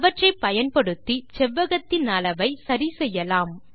அவற்றை பயன்படுத்தி செவ்வகத்தின் அளவை சரி செய்யலாம்